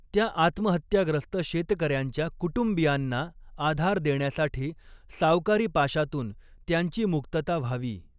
त्या आत्महत्याग्रस्त शेतकऱ्यांच्या कुटुंबीयांना आधार देण्यासाठी सावकारी पाशातून त्यांची मुक्तता व्हावी.